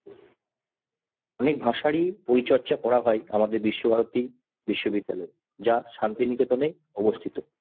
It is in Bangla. অনেক ভাষারই পরিচর্যা করা হয় আমাদের বিশ্বভারতী বিশ্ববিদ্যালয় যা শান্তিনিকেতনে অবস্থিত।